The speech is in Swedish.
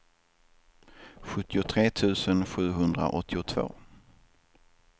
sjuttiotre tusen sjuhundraåttiotvå